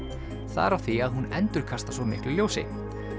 það er af því að hún endurkastar svo miklu ljósi